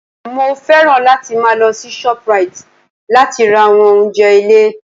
Mo fẹ́ràn láti máa lọ sí Shoprite láti ra àwọn oúnjẹ ilé